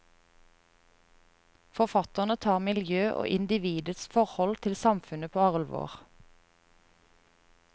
Forfatterne tar miljø og individets forhold til samfunnet på alvor.